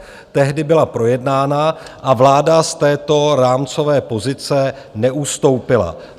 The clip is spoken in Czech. Tehdy byla projednána a vláda z této rámcové pozice neustoupila.